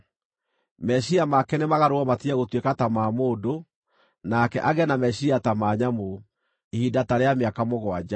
Meciiria make nĩmagarũrwo matige gũtuĩka ta ma mũndũ, nake agĩe na meciiria ta ma nyamũ, ihinda ta rĩa mĩaka mũgwanja.